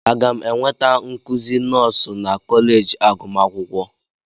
Aga m enweta nkuzi nọọsụ na kọleji agụmakwụkwọ?